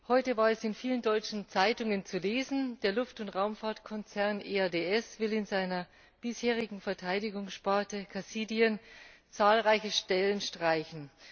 Heute war es in vielen deutschen Zeitungen zu lesen Der Luft und Raumfahrtkonzern EADS will in seiner bisherigen Verteidigungssparte Cassidian zahlreiche Stellen streichen.